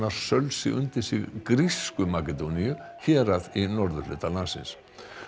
sölsi undir sig grísku Makedóníu hérað í norðurhluta landsins